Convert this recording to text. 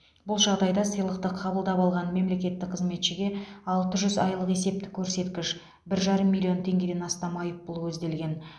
бұл жағдайда сыйлықты қабылдап алған мемлекеттік қызметшіге алты жүз айлық есептік көрсеткіш бір жарым миллион теңгеден астам айыппұл көзделген